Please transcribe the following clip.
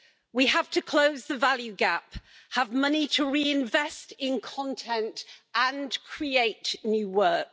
We have to close the value gap, have money to reinvest in content and create new work.